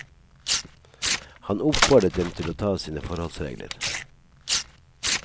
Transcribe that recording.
Han oppfordret dem til å ta sine forholdsregler.